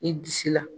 I disi la